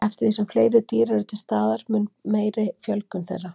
Eftir því sem fleiri dýr eru til staðar þeim mun meiri verður fjölgun þeirra.